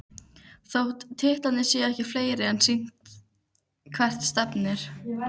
Þótt titlarnir séu ekki fleiri er sýnt hvert stefnir.